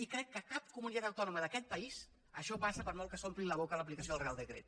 i crec que a cap comunitat autònoma d’aquest país això passa per molt que s’omplin la boca amb l’aplicació del reial decret